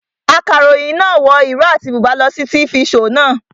Akaròyìn náà wọ ìró àti bùbá lọ sí tifi shoò naa